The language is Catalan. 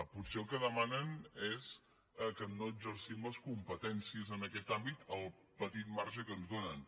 potser el que demanen és que no exercim les competències en aquest àmbit el petit marge que ens donen